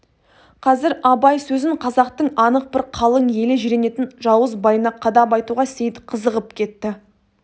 қазір абай сөзін қазақтың анық бір қалың елі жиренетін жауыз байына қадап айтуға сейіт қызығып кетті